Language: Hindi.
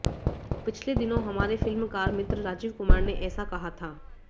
पिछले दिनों हमारे फिल्मकार मित्र राजीव कुमार ने ऐसा कहा था